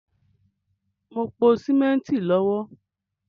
Mo ń pò símẹ́ntì lọ́wọ́